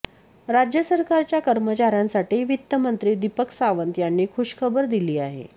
राज्य सरकारच्या कर्मचाऱ्यांसाठी वित्तमंत्री दीपक सावंत यांनी खुशखबर दिली आहे